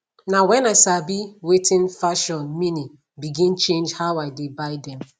na when i sabi wating fashion meani begin change how i dey buy them